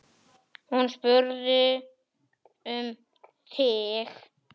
Hún spurði um þig.